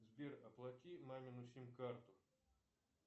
сбер оплати мамину сим карту